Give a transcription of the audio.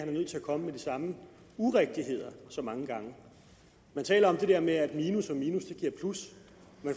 er nødt til at komme med de samme urigtigheder så mange gange man taler om det der med at minus